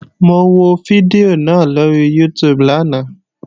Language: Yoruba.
Mo wo fídíò náà lóri YouTube lánàá